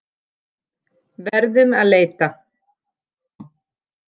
Verðum að leita.